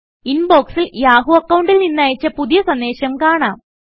ഇൻബോക്സിൽ Yahoo അക്കൌണ്ടിൽ നിന്ന് അയച്ച പുതിയ സന്ദേശം കാണാം